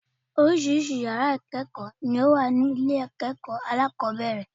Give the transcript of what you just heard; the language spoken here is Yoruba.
Oríṣiríṣi yàrá ìkéèkó ni ó wà ní ilé èkó alákòóbèrè